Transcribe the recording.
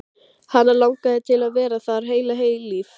Það var ekki mikillar hvatningar að vænta frá Ársæli Eiríkssyni.